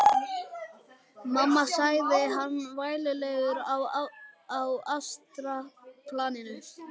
Mamma, sagði hann vælulegur á astralplaninu.